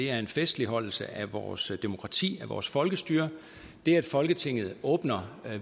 er en festligholdelse af vores demokrati af vores folkestyre det at folketinget åbner